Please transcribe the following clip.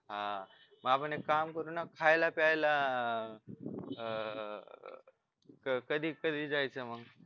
हा मग आपण एक काम करूना खायला प्यायला अह कधी कधी जायचं मग